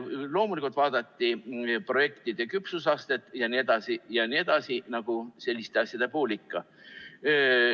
Loomulikult vaadati projektide küpsusastet jne, nagu selliste asjade puhul ikka.